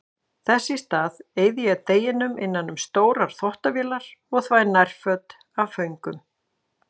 Þess í stað eyði ég deginum innan um stórar þvottavélar og þvæ nærföt af föngum.